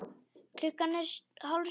Klukkan er hálf sjö.